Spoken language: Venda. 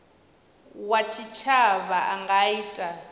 wa tshitshavha a nga ita